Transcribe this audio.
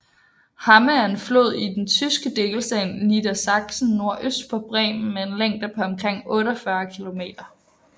Hamme er en flod i den tyske delstat Niedersachsen nordøst for Bremen med en længde på omkring 48 kilometer